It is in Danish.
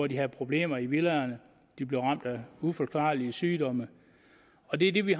de havde problemer i villaerne de blev ramt af uforklarlige sygdomme og det er det vi